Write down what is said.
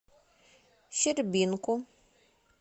щербинку